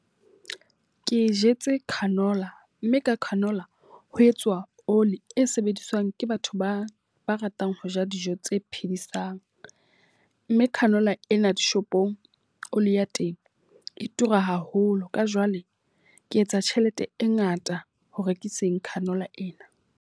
Ke jetse canola, mme ka canola ho etswa oli e sebediswang ke batho ba ba ratang ho ja dijo tse phedisang. Mme canola ena dishopong oli ya teng e tura haholo. Ka jwale ke etsa tjhelete e ngata ho rekiseng canola ena.